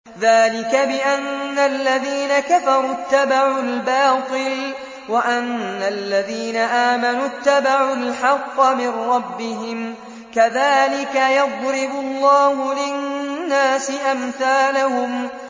ذَٰلِكَ بِأَنَّ الَّذِينَ كَفَرُوا اتَّبَعُوا الْبَاطِلَ وَأَنَّ الَّذِينَ آمَنُوا اتَّبَعُوا الْحَقَّ مِن رَّبِّهِمْ ۚ كَذَٰلِكَ يَضْرِبُ اللَّهُ لِلنَّاسِ أَمْثَالَهُمْ